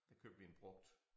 Der købte vi en brugt